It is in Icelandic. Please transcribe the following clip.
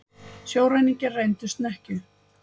Sjóræningjar rændu snekkju